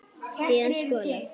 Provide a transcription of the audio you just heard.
Síðan skolað.